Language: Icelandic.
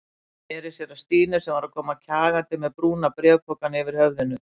Sneri sér að Stínu sem var að koma kjagandi með brúna bréfpokann yfir höfðinu.